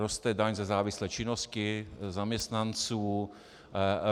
Roste daň ze závislé činnosti zaměstnanců.